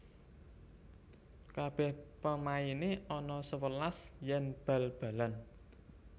Kabeh pemaine ana sewelas yen bal balan